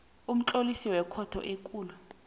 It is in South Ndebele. umtlolisi wekhotho ekulu